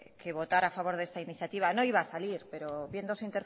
que votar a favor de esta iniciativa no iba a salir pero viendo su